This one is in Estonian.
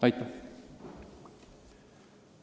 Aitäh!